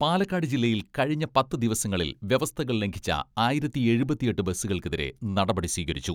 പാലക്കാട് ജില്ലയിൽ കഴിഞ്ഞ പത്തു ദിവസങ്ങളിൽ വ്യവസ്ഥകൾ ലംഘിച്ച ആയിരത്തി എഴുപത്തിയെട്ട് ബസ്സുകൾക്കെതിരെ നടപടി സ്വീകരിച്ചു.